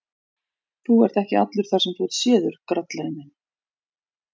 Þú ert ekki allur þar sem þú ert séður, grallarinn þinn!